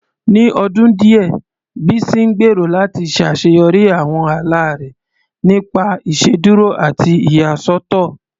Ní ọdún díẹ̀, Bísí ń gbèrò láti ṣàṣeyọrí àwọn ala rẹ̀ nípasẹ̀ ìṣèdúró àti ìyàsọ́tọ̀